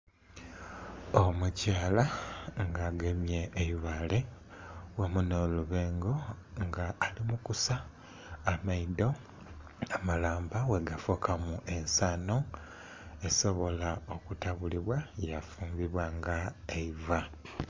Omukyala nga agemye eibale wamu nho lubengo nga ali mu kusa amaidho amalamba bwe gafukamu ensanho esobole okutabulibwa yafulibwa nga eiva.